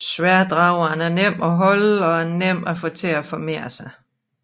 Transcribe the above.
Sværddrageren er nem at holde og nem at få til at formere sig